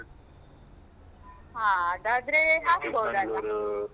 ಹಾ, ಅದಾದ್ರೆ ಹಾಕ್ಬೋದಲ್ವಾ